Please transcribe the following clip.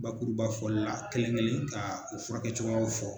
Bakurubafɔli la kelen-kelen kaa u furakɛcogoyaw fɔ